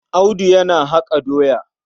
Audu yana haƙa doya.